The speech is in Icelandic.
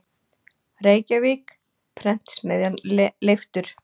Reykjavík: Prentsmiðjan Leiftur.